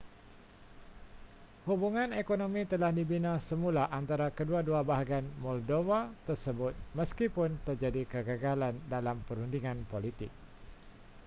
hubungan ekonomi telah dibina semula antara kedua-dua bahagian moldova tersebut meskipun terjadi kegagalan dalam perundingan politik